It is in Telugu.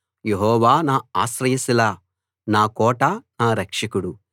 యెహోవా నా ఆశ్రయ శిల నా కోట నా రక్షకుడు